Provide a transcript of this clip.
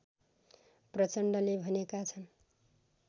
प्रचण्डले भनेका छन्